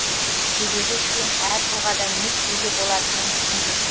себебі сен әр тұлғадан не күтуге болатынын түсінбейсің